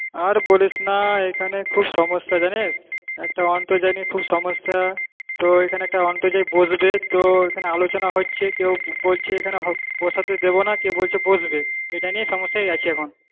আর বলিস না এখানে খুব সমস্যা জানিস, একটা আন্তর্জাল নিয়ে খুব সমস্যা তো এখানে একটা অন্তর্জাল বসবে তো এখানে আলোচনা হচ্ছে, কেউ বলছে এখানে বসাতে দেবোনা, কেউ বলছে বসবে এটা নিয়ে সমস্যায় আছি এখন।